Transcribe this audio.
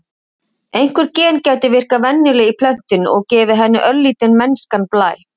Einhver gen gætu virkað venjulega í plöntunni, og gefið henni örlítinn mennskan blæ.